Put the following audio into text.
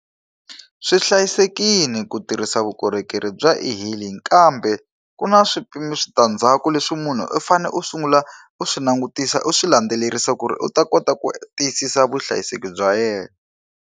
Swi hlayisekile ku tirhisa vukorhokeri bya e-hailing kambe ku na switandzhaku leswi munhu u fanele u sungula u swi langutisa u swi landzelerisa ku ri u ta kota ku tiyisisa vuhlayiseki bya yena.